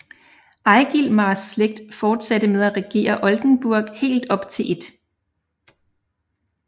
Egilmars slægt fortsatte med at regere Oldenborg helt op til 1